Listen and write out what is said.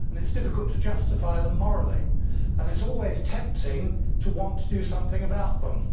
It is difficult to justify them morally and it is always tempting to want to do something about them.